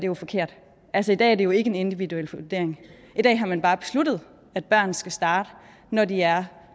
jo forkert altså i dag er det jo ikke en individuel vurdering i dag har man bare besluttet at børn skal starte når de er